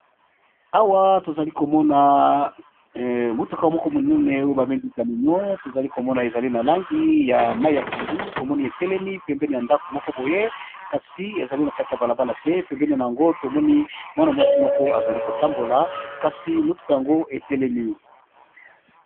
Awa tozali komona motuka moko monene oyo bamengi kaminion tozali komona ezali na langi ya mai ya pundu tomoni etelemi pembeni ya ndako moko boye kasi ezali na kati ya balabala te pembeni na yango tomoni mwana mwasi moko azali kotambola kasi motuka yango etelemi.